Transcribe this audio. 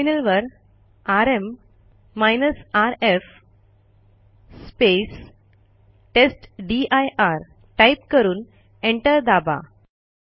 टर्मिनलवर RM rf टेस्टदीर type करून एंटर दाबा